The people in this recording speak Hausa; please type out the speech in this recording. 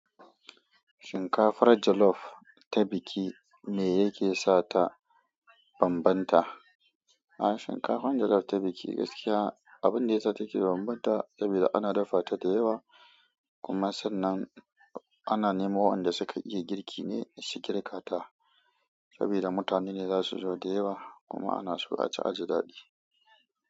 Shinkafar jollof ta biki me yake sa ta bambanta? A'a, shinkafar jollof ta biki gaskiya abin da ya sa take bambanta saboda ana dafa ta da yawa kuma sannan ana nemo waɗanda suka iya girki ne su girka ta saboda mutane ne za su zo da yawa kuma ana so a ci a ji daɗi.